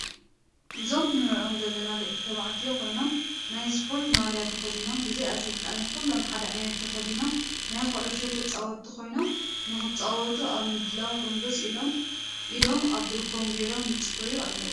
እዞም ንርኦም ዘለና ደቂ ተባዕትዮ ኮይኖም ናይ እስፖርቲ ማልያ ተከዲኖም ብዘይ ኣስልጣኒ ኩሎም ሓደ ዓይነት ተከዲኖም ናይ ኩዕሾ ተፃወቲ ኮይኖም ንክፃወቱ ኣብ ምድላው ጎንብስ ኢሎም ኢዶም ኣብ ብርኮም ገይሮም ይፅበዩ ኣለው።